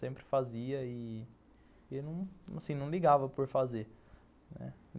Sempre fazia e e não ligava por fazer.